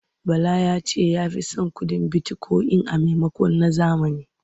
Bala ya ce ya fi son kuɗin bitikoyin a maimakon na zahiri.